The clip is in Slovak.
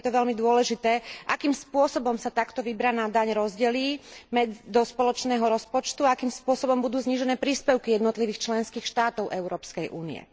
Bude preto veľmi dôležité, akým spôsobom sa takto vybraná daň rozdelí do spoločného rozpočtu a akým spôsobom budú znížené príspevky jednotlivých členských štátov Európskej únie.